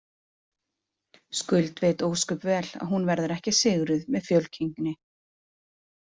Skuld veit ósköp vel að hún verður ekki sigruð með fjölkynngi.